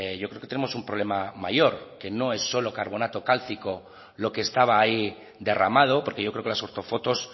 yo creo que tenemos un problema mayor que no es solo carbonato cálcico lo que estaba ahí derramado porque yo creo que las ortofotos